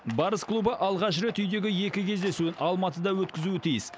барыс клубы алғаш рет үйдегі екі кездесуін алматыда өткізуі тиіс